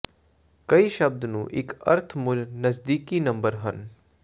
ਕਈ ਸ਼ਬਦ ਨੂੰ ਇੱਕ ਅਰਥ ਮੁੱਲ ਨਜ਼ਦੀਕੀ ਨੰਬਰ ਹਨ